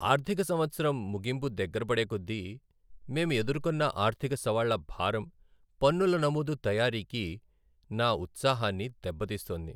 ఆర్థిక సంవత్సరం ముగింపు దగ్గరపడే కొద్దీ, మేం ఎదుర్కొన్న ఆర్థిక సవాళ్ల భారం పన్నుల నమోదు తయారీకి నా ఉత్సాహాన్ని దెబ్బతీస్తోంది.